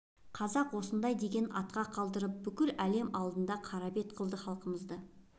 қазақ осындай деген атқа қалдырып бүкіл әлем алдында қара бет қылды халқымызды